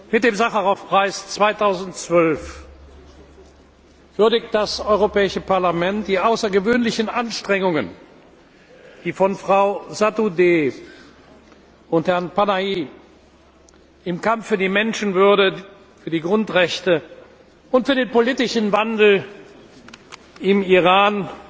Mit dem Sacharow Preis 2012 würdigt das Europäische Parlament die außergewöhnlichen Anstrengungen, die von Frau Sotoudeh und Herrn Panahi im Kampf für die Menschenwürde, für die Grundrechte und für den politischen Wandel im Iran